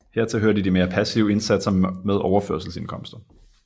Hertil hørte de mere passive indsatser med overførselsindkomster